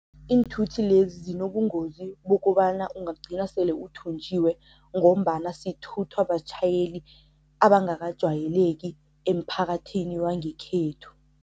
Iinthuthi lezi zinobungozi bokobana ungagcina sele uthunjiwe ngombana sithuthwa batjhayeli abangakajwayeleki emphakathini wangekhethu.